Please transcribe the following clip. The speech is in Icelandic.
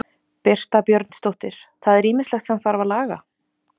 Birta Björnsdóttir: Það er ýmislegt sem þarf að laga?